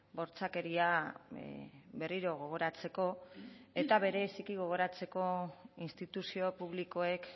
bortxakeria berriro gogoratzeko eta bereziki gogoratzeko instituzio publikoek